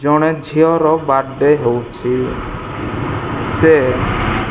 ଜଣେ ଝିଅର birthday ହୋଉଛି ସେ --